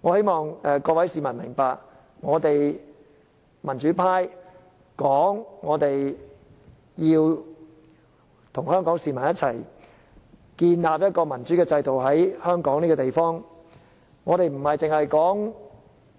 我只望各位市民明白到，我們民主派聲稱要和香港市民一起，在香港建立一個民主制度，所說的不單是